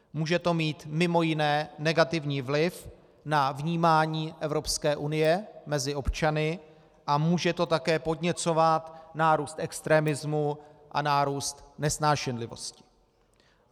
Může to mít mimo jiné negativní vliv na vnímání Evropské unie mezi občany a může to také podněcovat nárůst extremismu a nárůst nesnášenlivosti.